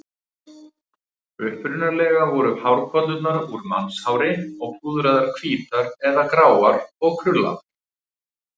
Upprunalega voru hárkollurnar úr mannshári og púðraðar hvítar eða gráar og krullaðar.